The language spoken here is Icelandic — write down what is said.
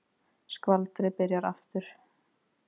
Skvaldrið byrjar aftur.